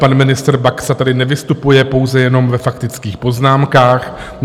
Pan ministr Baxa tady nevystupuje, pouze jenom ve faktických poznámkách.